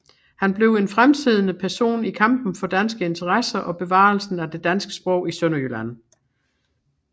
Han blev en fremtrædende person i kampen for danske interesser og bevarelsen af det danske sprog i Sønderjylland